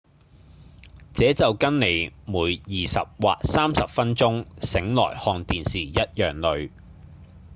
這就跟您每二十或三十分鐘醒來看電視一樣累